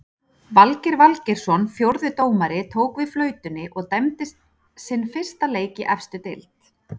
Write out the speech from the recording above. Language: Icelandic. Valgeir Valgeirsson fjórði dómari tók við flautunni og dæmdi sinn fyrsta leik í efstu deild.